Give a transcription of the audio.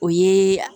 O ye